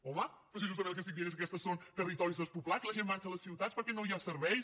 home però si justament el que estic dient és que aquests són territoris despoblats la gent marxa a les ciutats perquè no hi ha serveis